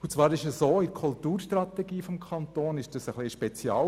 Innerhalb der Kulturstrategie ist dies ein wenig ein Spezialfall.